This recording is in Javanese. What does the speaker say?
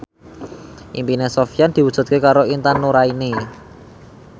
impine Sofyan diwujudke karo Intan Nuraini